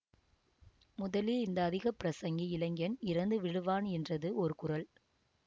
முதலில் இந்த அதிகப்பிரசங்கி இளைஞன் இறந்து விழுவான் என்றது ஒரு குரல்